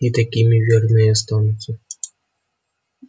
и такими верно и останутся